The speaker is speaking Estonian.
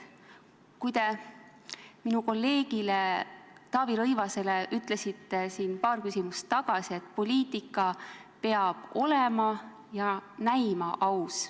Te minu kolleegile Taavi Rõivasele ütlesite paar küsimust tagasi, et poliitika peab olema ja näima aus.